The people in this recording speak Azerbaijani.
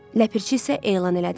Ləpərçi isə elan elədi.